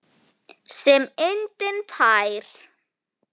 Sem lindin tær.